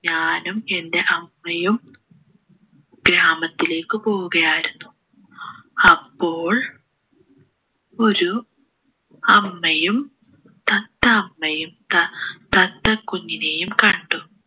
ഞാനും എൻ്റെ അമ്മയും ഗ്രാമത്തിലേക്ക് പോവുകയായിരുന്നു അപ്പോൾ ഒരു അമ്മയും തത്ത അമ്മയും ത തത്ത കുഞ്ഞിനെയും കണ്ടു